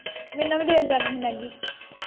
ਮੈਨੂੰ ਵੀ ਦੇ ਜਾਣੀ ਸੀ ਮੈਗੀ।